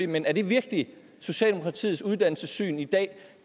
men er det virkelig socialdemokratiets uddannelsessyn i dag